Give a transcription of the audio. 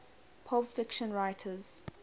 pulp fiction writers